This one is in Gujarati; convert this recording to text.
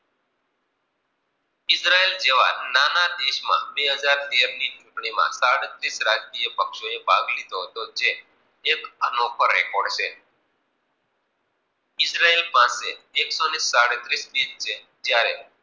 દેશ જેવા નાના દેશ માં, બે હજાર તેર ની ચુંટણી માં, સાડત્રીસ રાજ્ય પક્ષીઓ ભાગ લીધો હતો, જે એક એનો રેકોર્ડ છે. ઇજરયેલ પાસે એક સો સાડત્રીસ પીસ છે? જયારે